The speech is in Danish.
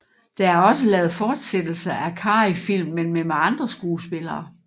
Der er også lavet fortsættelser af Carreyfilm men med andre skuespillere